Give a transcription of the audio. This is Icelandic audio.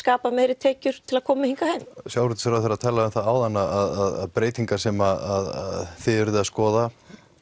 aflað meiri tekjur til að koma með heim sjávarútvegsráðherra talaði um það áðan að breytingar sem þið eruð að skoða